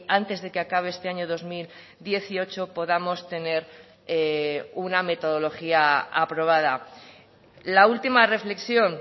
antes de que acabe este año dos mil dieciocho podamos tener una metodología aprobada la última reflexión